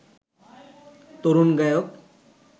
তরুণ গায়ক